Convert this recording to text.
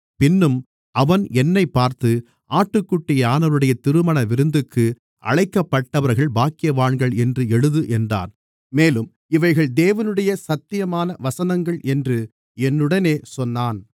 பின்னும் அவன் என்னைப் பார்த்து ஆட்டுக்குட்டியானவருடைய திருமணவிருந்துக்கு அழைக்கப்பட்டவர்கள் பாக்கியவான்கள் என்று எழுது என்றான் மேலும் இவைகள் தேவனுடைய சத்தியமான வசனங்கள் என்று என்னுடனே சொன்னான்